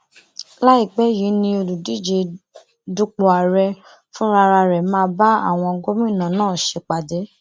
láìpẹ yìí ni olùdíje dupò ààrẹ fúnra ẹ máa bá àwọn gómìnà náà ṣèpàdé